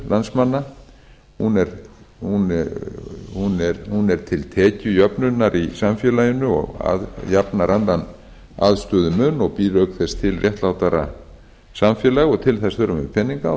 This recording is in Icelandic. á að styrkja velferðarþjónustu landsmanna hún er til tekjujöfnunar í samfélaginu og jafnar annan aðstöðumun og býr auk þess til réttlátara samfélag og til þess þurfum við peninga og